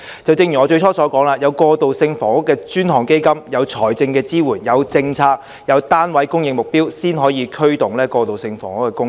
正如我最初所說，我們要有"過渡性房屋基金"、有財政支援、有政策、有單位供應目標，才可以驅動過渡性房屋的供應。